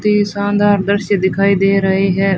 ते शानदार दृश्य दिखाई दे रहे है।